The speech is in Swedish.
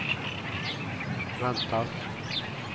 väntas